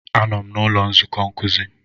Anọ m n'ụlọ nzukọ nkuzi.